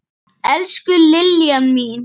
Elsku Liljan mín.